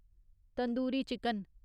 tandoori chicken